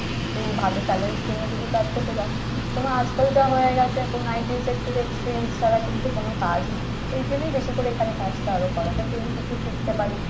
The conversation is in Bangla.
একটু ভালো salary র জন্য যদি কাজ করতে যাও, তো আজকাল যা হয়ে গেছে এখন IT sector এ experience ছাড়া কিন্তু কোন কাজ নেই। এর জন্যই বেশি করে এখানে কাজটা আরো করা যাতে আমি কিছু শিখতে পারি।